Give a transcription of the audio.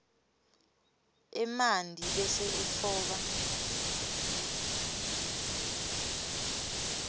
emanti bese utfoba